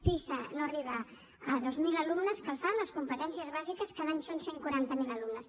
pisa no arriba a dos mil alumnes que el fan les competències bàsiques cada any són cent i quaranta miler alumnes